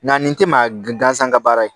Nga nin te maa g gansan ka baara ye